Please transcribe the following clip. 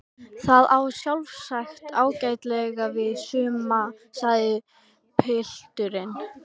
Það á sjálfsagt ágætlega við suma sagði pilturinn.